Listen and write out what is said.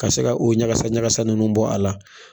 Ka se ka u ɲagasa ɲagasa ninnu bɔ a la.